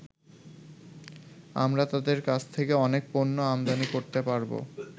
আমরা তাদের কাছ থেকে অনেক পণ্য আমদানি করতে পারবো।